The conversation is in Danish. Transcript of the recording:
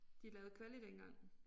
De lavede kvali dengang